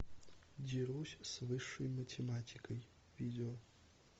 дерусь с высшей математикой видео